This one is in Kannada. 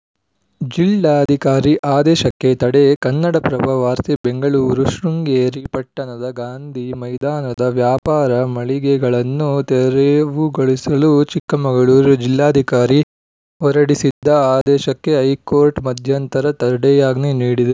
ಜಿಲ್ಲಾಧಿಕಾರಿ ಆದೇಶಕ್ಕೆ ತಡೆ ಕನ್ನಡಪ್ರಭ ವಾರ್ತೆ ಬೆಂಗಳೂರು ಶೃಂಗೇರಿ ಪಟ್ಟಣದ ಗಾಂಧಿ ಮೈದಾನದ ವ್ಯಾಪಾರ ಮಳಿಗೆಗಳನ್ನು ತೆರವುಗೊಳಿಸಲು ಚಿಕ್ಕಮಗಳೂರು ಜಿಲ್ಲಾಧಿಕಾರಿ ಹೊರಡಿಸಿದ್ದ ಆದೇಶಕ್ಕೆ ಹೈಕೋರ್ಟ್‌ ಮಧ್ಯಂತರ ತಡೆಯಾಜ್ಞೆ ನೀಡಿದೆ